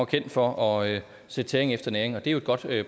kendt for at sætte tæring efter næring og det er jo et godt